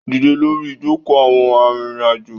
Dídẹ lórí ìjoko àwọn arìnrìn-àjò